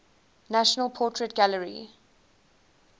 national portrait gallery